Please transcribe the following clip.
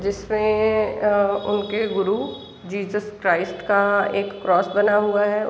जिसमें अ उनके गुरु जीसस क्राइस्ट का क्रॉस बना हुआ है।